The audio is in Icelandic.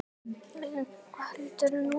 Kjartan Hreinn: Kubbur?